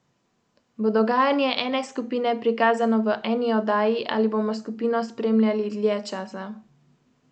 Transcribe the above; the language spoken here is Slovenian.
In nauk te basni?